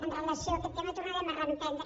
amb relació a aquest tema tornarem a reprendre